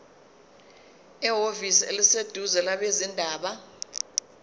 ehhovisi eliseduzane labezindaba